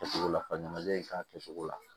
Kɛcogo la ɲanajɛ in k'a kɛ cogo la